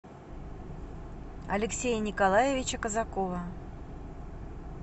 алексея николаевича казакова